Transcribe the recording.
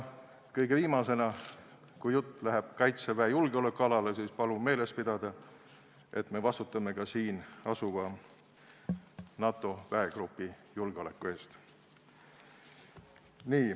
Kõige viimaseks, kui jutt läheb Kaitseväe julgeolekualale, siis palun meeles pidada, et me vastutame ka siin asuva NATO väegrupi julgeoleku eest.